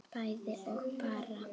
bæði og bara